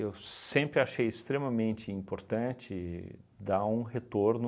sempre achei extremamente importante dar um retorno